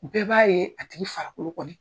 Bɛɛ b'a ye a tigi farakolo kɔni